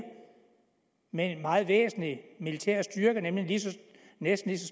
med en meget væsentlig militær styrke nemlig næsten